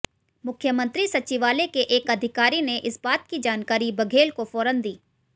मुख्यमंत्री सचिवालय के एक अधिकारी ने इस बात की जानकारी बघेल को फौरन दी